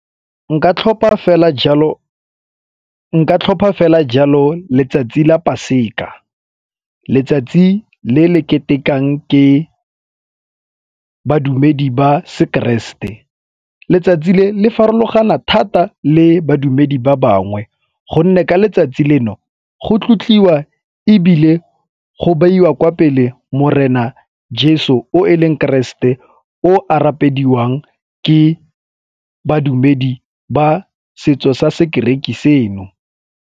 Nka tlhopha fela jalo letsatsi la paseka, letsatsi le le ketekang ke badumedi ba sekeresete. Letsatsi le le farologana thata le badumedi ba bangwe gonne ka letsatsi leno go tlotliwa ebile go beiwa kwa pele Morena Jeso o e leng keresete e o a rapediwang ke badumedi ba setso sa sekereki seno.